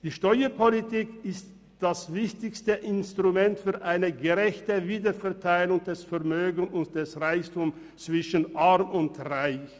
Die Steuerpolitik ist das wichtigste Instrument für eine gerechte Wiederverteilung des Vermögens und des Reichtums zwischen Arm und Reich.